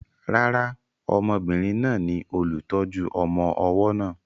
Rárá, obìnrin náà ni olùtọ́jú ọmọ ọwọ́ náà.